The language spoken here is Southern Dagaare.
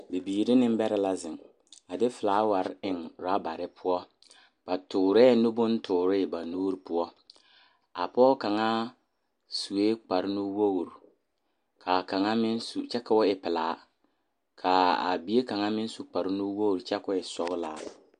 Bibiiri ne nembɛrɛ la zeŋ a de felaaware eŋ worabare poɔ. Ba toorɛɛ nu bontoore ba nuuri poɔ A pɔge kaŋa sue kparnuwoor, kaa kaŋa meŋ su kyɛ koo e pelaa kaa a bie kaŋa meŋ su kyɛ koo e sɔglaa.